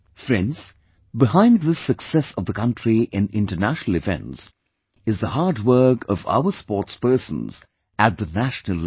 Friends, behind this success of the country in international events, is the hard work of our sportspersons at the national level